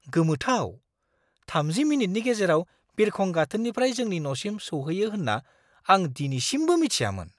गोमोथाव! 30 मिनिटनि गेजेराव बिरखं गाथोननिफ्राय जोंनि न'सिम सौहैयो होन्ना आं दिनैसिमबो मिथियामोन!